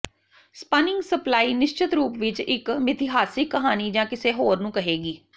spinning supply ਨਿਸ਼ਚਤ ਰੂਪ ਵਿੱਚ ਇੱਕ ਮਿਥਿਹਾਸਿਕ ਕਹਾਣੀ ਜਾਂ ਕਿਸੇ ਹੋਰ ਨੂੰ ਕਹੇਗੀ